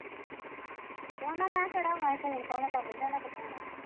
ਤੇ ਉਹਨਾ ਮੈਂ ਕਿਹੜਾ ਫੋਨ ਕਿੱਥੋ ਆਉਨਾ।